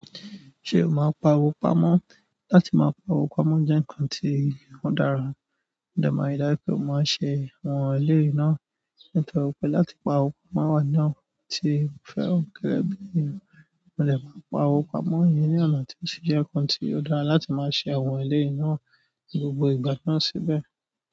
Ṣé o máa ń pa owo pamọ́? Láti máa pa owo pamọ́ jẹ́ nǹkan tí ó dára, mo dẹ̀ máa rí dájú pẹ́ mo máa ṣe àwọn eléyìí náà. Nítorí pe láti pa owo pamọ́ wa nínú àwọn nǹkan ti mo fẹ́ràn gẹ́gẹ́ ènìyàn, mo de maa n pa owo pamọ́ ìyẹn ni ọnà, ti o sì jẹ nǹkan ti o dára láti máa ṣe àwọn eléyìí náà ni gbogbo ìgbà náà síbẹ̀.